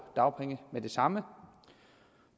dagpenge med det samme